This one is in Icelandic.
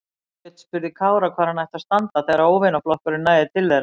Björn spurði Kára hvar hann ætti að standa þegar óvinaflokkurinn næði til þeirra.